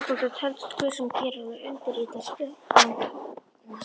Stofnandi telst hver sá sem gerir og undirritar skriflegan stofnsamning.